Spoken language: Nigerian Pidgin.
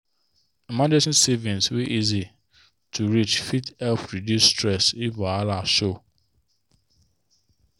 emergency savings wey easy to reach fit help reduce stress if wahala show.